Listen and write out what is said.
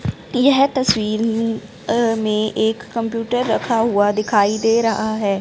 यह तस्वीर अह में एक कंप्यूटर रखा हुआ दिखाई दे रहा है।